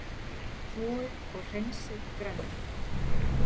Þvoið og hreinsið grænmetið.